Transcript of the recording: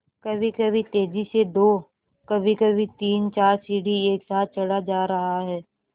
कभीकभी तेज़ी से दो कभीकभी तीनचार सीढ़ी एक साथ चढ़ा जा रहा है